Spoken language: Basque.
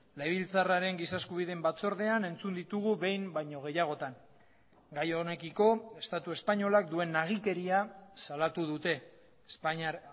legebiltzarraren giza eskubideen batzordean entzun ditugu behin baino gehiagotan gai honekiko estatu espainolak duen nagikeria salatu dute espainiar